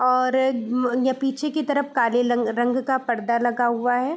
और ये यहाँ पीछे की तरफ काले लग रंग का पर्दा लगा हुआ है।